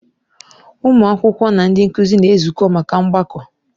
Ụmụ akwụkwọ na ndị nkụzi na-ezukọ maka mgbakọ.